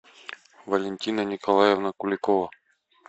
валентина николаевна куликова